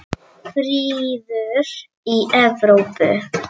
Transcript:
Friður í Evrópu.